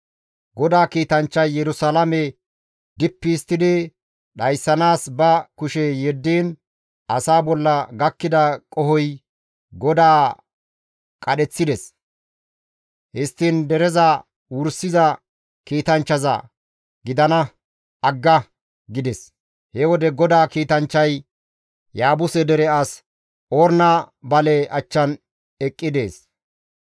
GODAA kiitanchchay Yerusalaame dippi histtidi dhayssanaas ba kushe yeddiin asaa bolla gakkida qohoy GODAA qadheththides; histtiin dereza wursiza kiitanchchaza, «Gidana! Agga!» gides. He wode GODAA kiitanchchay Yaabuse dere as Orna bale achchan eqqi dees.